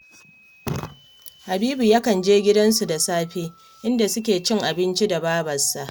Habibu yakan je gidansu da safe, inda suke cin abinci da babarsa